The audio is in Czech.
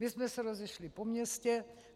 My jsme se rozešli po městě.